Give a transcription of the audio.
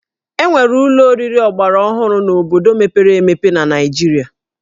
E nwere ụlọ oriri ọgbaraọhụrụ n'obodo mepere emepe na Naịjirịa